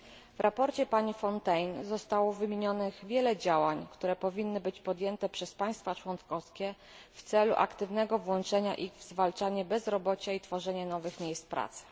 W sprawozdaniu pani Fontagné zostało wymienionych wiele działań, które powinny być podjęte przez państwa członkowskie w celu ich aktywnego włączenia w zwalczanie bezrobocia i tworzenie nowych miejsc pracy.